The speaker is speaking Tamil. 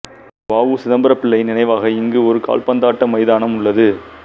வ உ சிதம்பரம்பிள்ளையின் நினைவாக இங்கு ஒரு கால்பந்தாட்ட மைதானம் உள்ளது